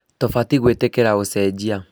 Tũbatiĩ gwĩtĩkira ũcenjia